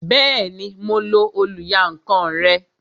Bẹẹni, mo lo oluyankan rẹ